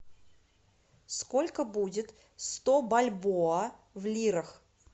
сколько будет сто бальбоа в лирах